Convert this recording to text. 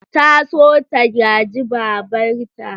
Ta so ta gaji babarta.